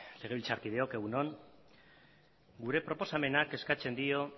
legebiltzarkideok egun on gure proposamenak eskatzen dio